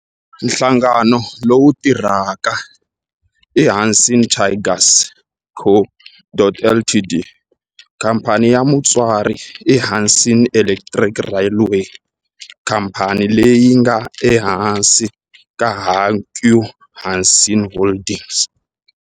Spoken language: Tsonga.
Nhlangano lowu tirhaka i Hanshin Tigers Co., Ltd. Khamphani ya mutswari i Hanshin Electric Railway, khamphani leyi nga ehansi ka Hankyu Hanshin Holdings.